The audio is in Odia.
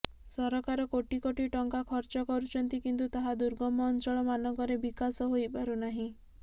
ସରକାର କୋଟି କୋଟି ଟଙ୍କା ଖର୍ଚ୍ଚ କରୁଛନ୍ତି କିନ୍ତୁ ତାହା ଦୁର୍ଗମ ଅଞ୍ଚଳ ମାନଙ୍କରେ ବିକାଶ ହୋଇପାରୁନାହିଁ